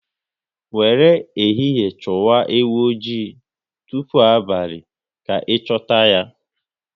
Wéré ehihie chụwa ewu oji, tụpụ abalị ka ị chuta ya